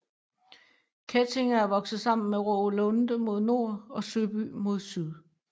Kettinge er vokset sammen med Rågelunde mod nord og Søby mod syd